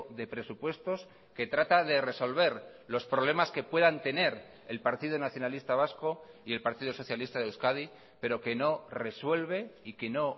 de presupuestos que trata de resolver los problemas que puedan tener el partido nacionalista vasco y el partido socialista de euskadi pero que no resuelve y que no